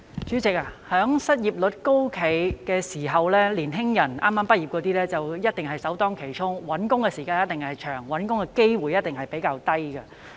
主席，在失業率高企的時期，剛剛畢業的年輕人一定首當其衝，找工作的時間一定長，機會也一定比較少。